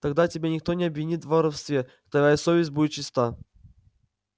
тогда тебя никто не обвинит в воровстве твоя совесть будет чиста